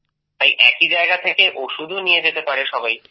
তাই একই জায়গা থেকেই ওষুধও নিয়ে যেতে পারে সবাই